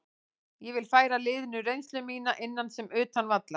Ég vil færa liðinu reynslu mína, innan sem utan vallar.